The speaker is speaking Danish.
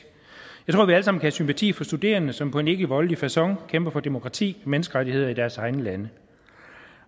jeg kan have sympati for studerende som på en ikkevoldelig facon kæmper for demokrati menneskerettigheder i deres egne lande